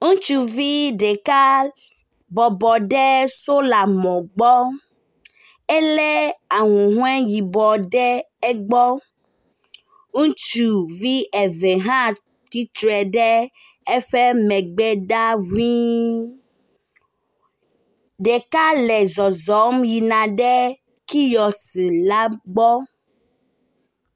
Ŋutsuvi ɖeka bɔbɔ ɖe solar mɔ gbɔ, elé ahuhɔ yibɔ ɖe egbɔ. Ŋutsuvi eve hã tsitre ɖe eƒe megbe ɖaa ŋui. Ɖeka le zɔzɔm yina ɖe kiosk la gbɔ.